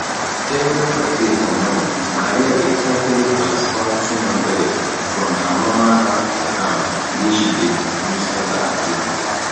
everi friday for morning maria dey carefully transfer 200 from her normal bank account wey she dey use enter ajo